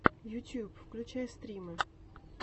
ютьюб включай стримы